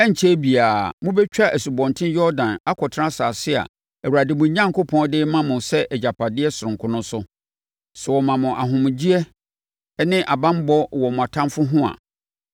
Ɛrenkyɛre biara, mobɛtwa Asubɔnten Yordan akɔtena asase a Awurade, mo Onyankopɔn, de rema mo sɛ agyapadeɛ sononko no so. Sɛ ɔma mo ahomegyeɛ ne banbɔ wɔ mo atamfoɔ ho a,